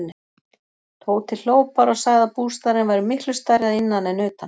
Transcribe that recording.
Tóti hló bara og sagði að bústaðurinn væri miklu stærri að innan en utan.